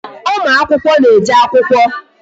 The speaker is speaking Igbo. Ụmụ akwụkwọ na-eje akwụkwọ